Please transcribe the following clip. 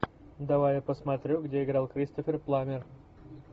давай я посмотрю где играл кристофер пламмер